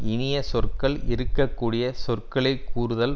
இனிய சொற்கள் இருக்க கடிய சொற்களை கூறுதல்